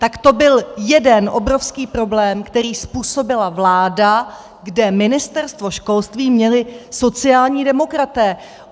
Tak to byl jeden obrovský problém, který způsobila vláda, kde Ministerstvo školství měli sociální demokraté.